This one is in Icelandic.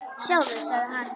Sjáðu, sagði hann.